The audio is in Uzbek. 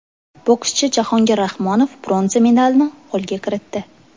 Bokschi Jahongir Rahmonov bronza medalni qo‘lga kiritdi.